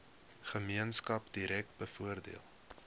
gemeenskap direk bevoordeel